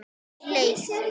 Lauk því.